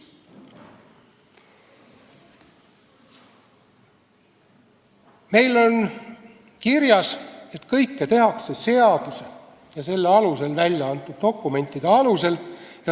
Meil on kirjas, et kõike tehakse seaduse ja selle alusel välja antud dokumentide põhjal.